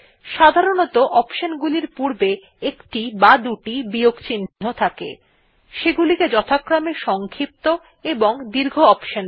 সাধারণত অপশন গুলির পূর্বে একটি বা দুটি বিয়োগ চিন্হ থাকে থাকে সেগুলিকে যথাক্রমে সংক্ষিপ্ত এবং দীর্ঘ অপশন বলে